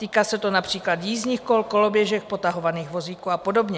Týká se to například jízdních kol, koloběžek, potahovaných vozíků a podobně.